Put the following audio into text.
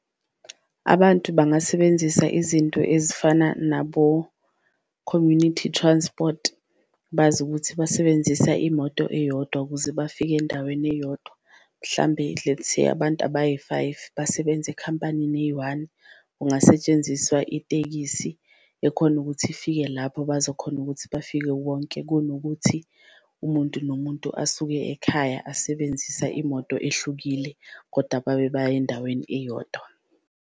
Abantu bangasebenzisa izinto ezifana nabo-community transport bazi ukuthi basebenzisa imoto eyodwa kuze bafike endaweni eyodwa, mhlambe lets say abantu abayi-five basebenza ekhampanini eyi-one kungasetshenziswa itekisi ekhona ukuthi ifike lapho bazokhona ukuthi bafike wonke. Kunokuthi umuntu nomuntu asuke ekhaya asebenzisa imoto ehlukile koda babe baya endaweni eyodwa.